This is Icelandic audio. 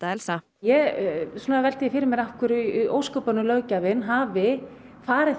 velti því fyrir mér af hverju í ósköpunum löggjafinn hafi farið þessa leið